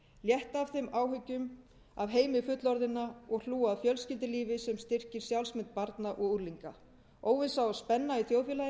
létta af þeim áhyggjum af heimi fullorðinna og hlúa að fjölskyldulífi sem styrkir sjálfsmynd barna og unglinga óvissa og spenna í þjóðfélaginu